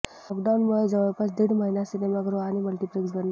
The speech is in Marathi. लॉकडाऊनमुळे जवळपास दीड महिना सिनेमागृहं आणि मल्टीप्लेक्स बंद आहेत